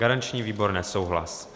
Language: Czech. Garanční výbor: nesouhlas.